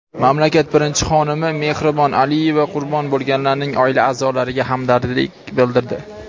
mamlakat birinchi xonimi Mehribon Aliyeva qurbon bo‘lganlarning oila a’zolariga hamdardlik bildirdi.